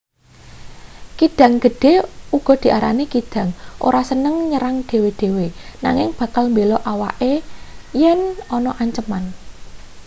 kidang gedhe uga diarani kidang ora seneng nyerang dhewe-dhewe nanging bakal mbela awake yen ana anceman